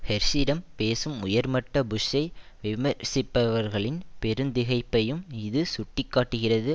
ஹெர்ஷிடம் பேசும் உயர்மட்ட புஷ்ஷை விமர்சிப்பவர்களின் பெருத் திகைப்பையும் இது சுட்டி காட்டுகிறது